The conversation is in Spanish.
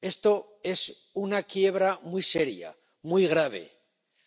Esto es una quiebra, muy seria, muy grave,